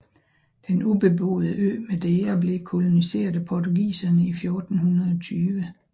Den ubeboede ø Madeira blev koloniseret af portugiserne i 1420